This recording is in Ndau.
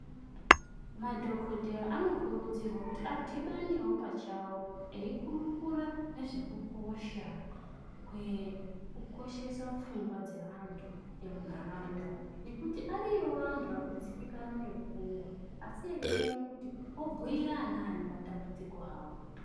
Madhokodheya anokurudzirwa kuti adhibanewo pachawo ekurukura ngezvekukosha kwekukoshesa pfungwa dzeantu emundaraunda ngekuti ariyowo antu arikudzibikana ngepfungwa asi eishaya kuti obhuira anani matambudziko awo